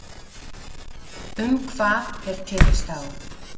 Um hvað er tekist á